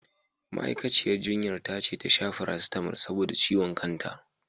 Ma'aikaciyar jinyar ta ce ta sha farasitamal saboda ciwon kanta.